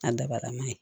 A dabalama ye